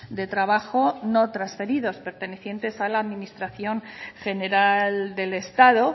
de trabajo no transferidos pertenecientes a la administración general del estado